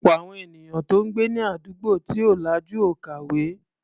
Ọ̀pọ̀ àwọn ènìyàn tó ń gbé ní àdúgbò tí ò lajú ò kàwé.